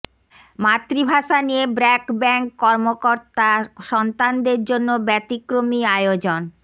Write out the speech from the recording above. মাতৃভাষা নিয়ে ব্র্যাক ব্যাংক কর্মকর্তা সন্তানদের জন্য ব্যতিক্রমী আয়োজন